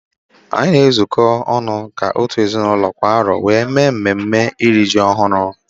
Anyị na ezuko ọnụ ka otu ezinaụlọ kwa arọ wéré mee mme mme eri m ji ọhụrụ